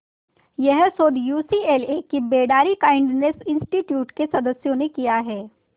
यह शोध यूसीएलए के बेडारी काइंडनेस इंस्टीट्यूट के सदस्यों ने किया है